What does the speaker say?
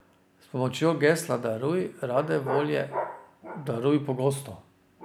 S pomočjo gesla Daruj rade volje, daruj pogosto.